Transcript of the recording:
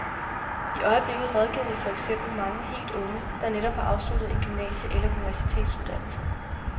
I øjeblikket rådgiver vi for eksempel mange helt unge, der netop har afsluttet en gymnasie- eller universitetsuddannelse.